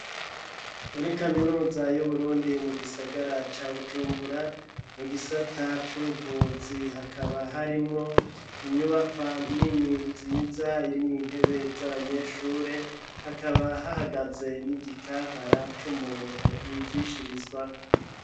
Muri kaminuza y'Uburundi mu gisagara ca Bujumbura mu gisata c'ubuvuzi hakaba harimwo inyubaka nini nziza irimo intebe z'abanyeshure hakaba hahagaze n'igikankara c'umuntu bigishirizwako.